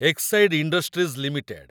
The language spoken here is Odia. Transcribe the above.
Exide industries limited